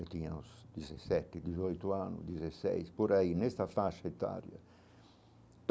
Eu tinha uns dezessete, dezoito anos, dezesseis, por aí, nesta faixa etária.